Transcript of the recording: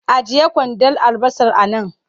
Ajiye kwandon albasar a nan!